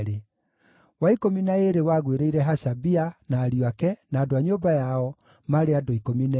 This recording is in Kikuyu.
wa ikũmi na ĩĩrĩ wagũĩrĩire Hashabia, na ariũ ake, na andũ a nyũmba yao, maarĩ andũ 12;